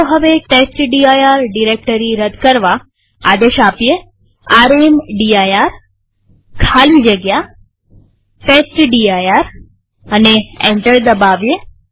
ચાલો હવે test dir directory રદ કરવા આદેશ રામદીર ખાલી જગ્યા ટેસ્ટડિર લખીએ અને એન્ટર દબાવીએ